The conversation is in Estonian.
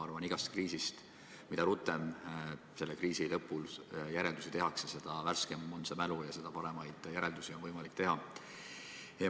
Ma arvan, et iga kriisi puhul on nii, et mida rutem selle lõpul järeldusi tehakse, seda värskem on mälu ja seda paremaid järeldusi on võimalik teha.